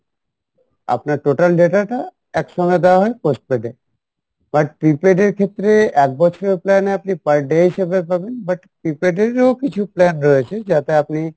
আপনার total data টা এক সঙ্গে দেওয়া হয় post paid এ but prepaid এর ক্ষেত্রে এক বছরের plan এ আপনি per day হিসাবে পাবেন but prepaid এরও কিছু plan রয়েছে যাতে আপনি